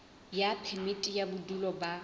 ya phemiti ya bodulo ba